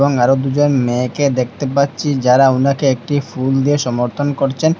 আর দু'জন মেয়েকে দেখতে পাচ্ছি যারা ওনাকে একটি ফুল দিয়ে সমর্থন করছেন।